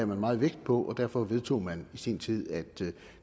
man meget vægt på og derfor vedtog man i sin tid at